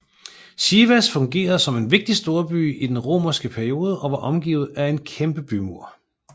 Sivas fungerede som en en vigtig storby i den romerske periode og var omgivet af en kæmpe bymur